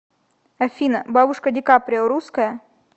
афина бабушка ди каприо русская